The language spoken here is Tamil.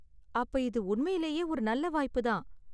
அப்ப இது உண்மையிலேயே ஒரு நல்ல வாய்ப்பு தான்.